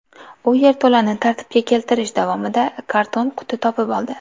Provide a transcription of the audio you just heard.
U yerto‘lani tartibga keltirish davomida karton quti topib oldi.